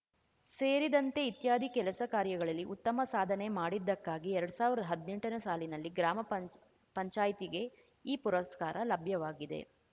ಸೇರಿದಂತೆ ಇತ್ಯಾದಿ ಕೆಲಸ ಕಾರ್ಯಗಳಲ್ಲಿ ಉತ್ತಮ ಸಾಧನೆ ಮಾಡಿದ್ದಕ್ಕಾಗಿ ಎರಡ್ ಸಾವಿರದಾ ಹದ್ನೆಂಟನೇ ಸಾಲಿನಲ್ಲಿ ಗ್ರಾಮ ಪಂಚ್ ಪಂಚಾಯ್ತಿಗೆ ಈ ಪುರಸ್ಕಾರ ಲಭ್ಯವಾಗಿದೆ